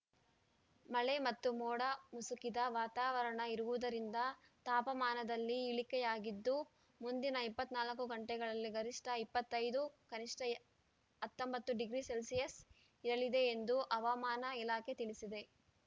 ಮಳೆ ಮತ್ತು ಮೋಡ ಮುಸುಕಿದ ವಾತಾವರಣ ಇರುವುದರಿಂದ ತಾಪಮಾನದಲ್ಲಿ ಇಳಿಕೆಯಾಗಿದ್ದು ಮುಂದಿನ ಇಪ್ಪತ್ತ್ ನಾಲ್ಕು ಗಂಟೆಗಳಲ್ಲಿ ಗರಿಷ್ಠ ಇಪ್ಪತ್ತ್ ಐದು ಕನಿಷ್ಠ ಹತ್ತೊಂಬತ್ತು ಡಿಗ್ರಿ ಸೆಲ್ಸಿಯಸ್‌ ಇರಲಿದೆ ಎಂದು ಹವಾಮಾನ ಇಲಾಖೆ ತಿಳಿಸಿದೆ